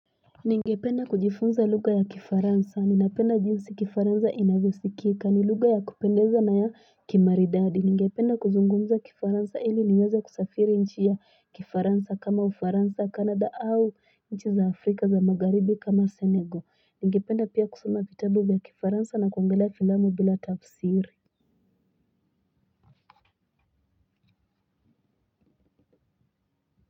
Ningependa kujifunza lugha ya kifaransa ninapenda jinsi kifaransa inavyosikika ni lugha ya kupendeza na ya kimaridadi ningependa kuzungumza kifaransa hili niweze kusafiri nchi ya kifaransa kama ufaransa canada au nchi za afrika za magharibi kama senego ningependa pia kusoma vitabu vya kifaransa na kuongelea filamu bila tafsiri.